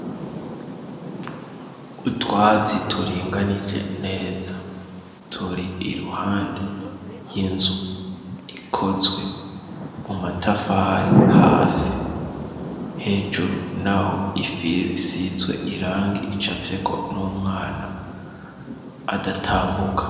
Utwazi turinganije neza turi iruhande ry'inzu ikozwe mu matafari hasi hejuru na ho ifisizwe irange ica afeko n'umwana adatambuke.